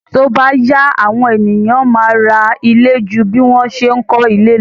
Tí ó bá yá, àwọn ènìyàn a máa ra ilé ju bí wọ́n ṣe ń kó ilé lo.